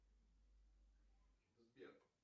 сбер